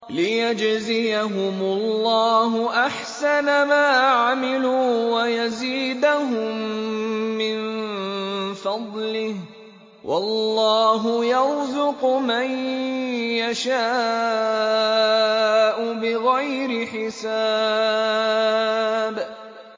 لِيَجْزِيَهُمُ اللَّهُ أَحْسَنَ مَا عَمِلُوا وَيَزِيدَهُم مِّن فَضْلِهِ ۗ وَاللَّهُ يَرْزُقُ مَن يَشَاءُ بِغَيْرِ حِسَابٍ